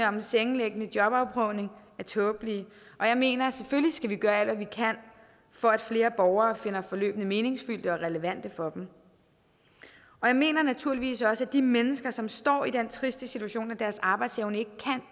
sengeliggende jobprøvning er tåbelige og jeg mener at vi selvfølgelig skal gøre alt hvad vi kan for at flere borgere finder forløbene meningsfyldte og relevante for dem jeg mener naturligvis også at de mennesker som står i den triste situation at deres arbejdsevne ikke